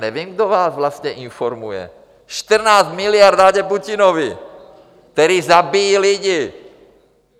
Nevím, kdo vás vlastně informuje - 14 miliard dáte Putinovi, který zabíjí lidi.